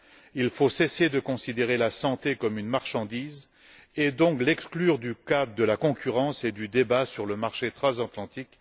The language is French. Il faut cesser de considérer la santé comme une marchandise et donc l'exclure du cadre de la concurrence et du débat sur le marché transatlantique.